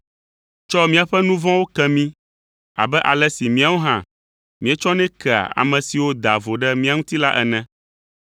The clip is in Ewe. Tsɔ míaƒe nu vɔ̃wo ke mí abe ale si míawo hã míetsɔnɛ kea, ame siwo daa vo ɖe mía ŋuti la ene.